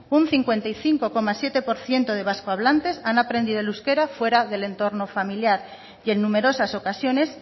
un cincuenta y cinco coma siete por ciento de vascohablante han aprendido el euskera fuera del entorno familiar y en numerosas ocasiones